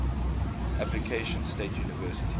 appalachian state university